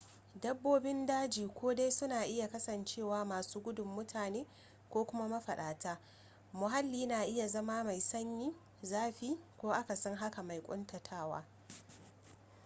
dabbobin daji ko dai suna iya kasancewa masu gudun mutane ko kuma mafaɗata muhalli na iya zama mai sanyi zafi ko akasin haka mai ƙuntatawa